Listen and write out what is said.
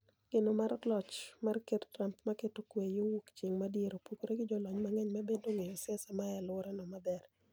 Geno mar loch mar ker Trump mar keto kwe yoo wuok chieng' madiere opogore gi jolony mang'eny ma bende ong'eyo siasa mae aluora no maber.